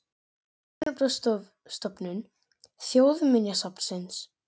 Örnefnastofnun Þjóðminjasafns.